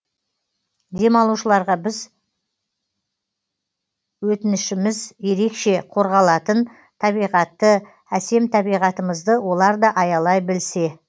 демалушыларға бір өтінішіміз ерекше қорғалатын табиғатты әсем табиғатымызды олар да аялай білсе